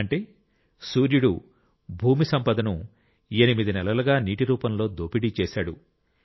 అంటే సూర్యుడు భూమి సంపదను ఎనిమిది నెలలుగా నీటి రూపంలో దోపిడీ చేశాడు